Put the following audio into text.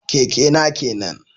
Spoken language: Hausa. Keke na kenan